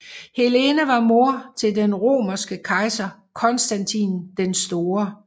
Helena var mor til den romerske kejser Konstantin den Store